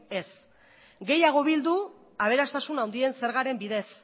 ez gehiago bildu aberastasun handien zergaren bidez